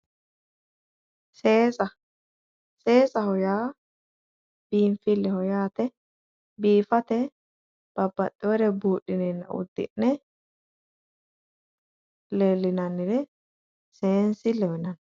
Seesa seesaho yaa biinfilleho yaate biifate babbaxeewore buudhinenna uddi'ne leellinannire seensilleho yinanni.